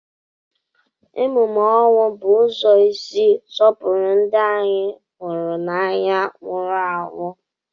Emume ọnwụ bụ ụzọ isi sọpụrụ ndị anyị hụrụ n'anya nwụrụ anwụ.